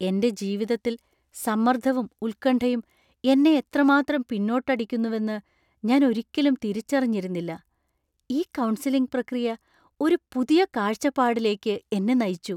എന്‍റെ ജീവിതത്തിൽ സമ്മർദ്ദവും ഉത്കണ്ഠയും എന്നെ എത്രമാത്രം പിന്നോട്ടടിക്കുന്നുവെന്ന് ഞാൻ ഒരിക്കലും തിരിച്ചറിഞ്ഞിരുന്നില്ല. ഈ കൗൺസിലിംഗ് പ്രക്രിയ ഒരു പുതിയ കാഴ്ചപ്പാടിലേക്ക് എന്നെ നയിച്ചു.